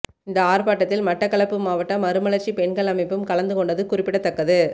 இந்த ஆர்ப்பாட்டத்தில் மட்டக்களப்பு மாவட்ட மறுமலர்ச்சி பெண்கள் அமைப்பும் கலந்துகொண்டது குறிப்பிடத்தக்கது